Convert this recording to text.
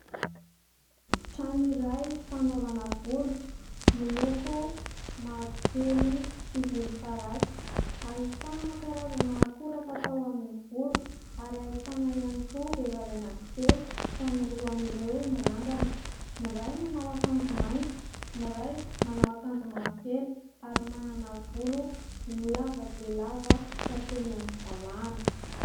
Trano iray fanaovana volo miloko mavokely sy volom-parasy, ahitana karazana akora fatao amin'ny volo ary ahitana ihany koa vehivavy anankitelo ka ny roa amin'ireo mirandrana, ny iray manao akanjo mainty, ny iray manao akanjo mavokely ary manana volo lava dia lava ka hatreny amin'ny valahana.